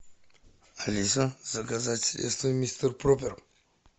алиса заказать средство мистер пропер